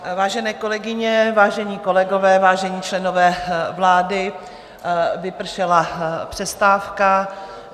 Vážené kolegyně, vážení kolegové, vážení členové vlády, vypršela přestávka.